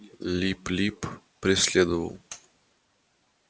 лип лип преследовал